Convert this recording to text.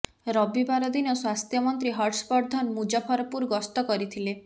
ରବିବାର ଦିନ ସ୍ୱାସ୍ଥ୍ୟ ମନ୍ତ୍ରୀ ହର୍ଷବର୍ଦ୍ଧନ ମୁଜଫରପୁର ଗସ୍ତ କରିଥିଲେ